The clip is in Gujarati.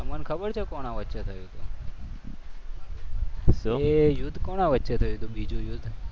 તમને ખબર છે? કોના વચ્ચે થયું હતું એ યુદ્ધ? કોના વચ્ચે થયું હતું બીજું યુદ્ધ.